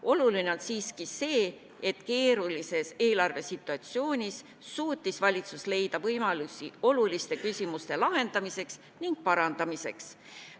Oluline on siiski see, et keerulises eelarvesituatsioonis suutis valitsus leida võimalusi oluliste küsimuste lahendamiseks ning parandamiseks.